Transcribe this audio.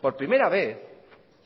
por primera vez